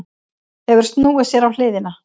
Hefur snúið sér á hliðina.